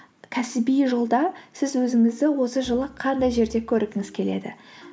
кәсіби жолда сіз өзіңізді осы жылы қандай жерде көргіңіз келеді